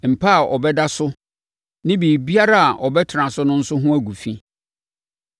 “ ‘Mpa a ɔbɛda so ne biribiara a ɔbɛtena so nso ho gu fi;